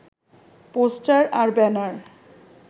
poster আর banner